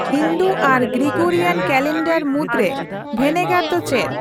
ᱦᱤᱱᱫᱩ ᱟᱨ Gregorian calendar ᱢᱩᱫ ᱨᱮ ᱵᱷᱮᱱᱮᱜᱟᱨ ᱫᱚ ᱪᱮᱫ